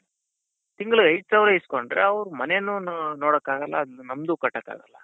ತಿಂಗಳಿಗೆ ಐದ್ ಸಾವಿರ ಈಸ್ಕೊಂಡ್ರೆ ಅವ್ರ್ ಮನೇನು ನೋಡೋಕಾಗಲ್ಲ ಅದ್ ನಮಗೂ ಕಟ್ಟಕ್ಕಾಗಲ್ಲ.